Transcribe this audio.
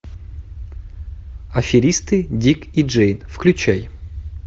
аферисты дик и джейн включай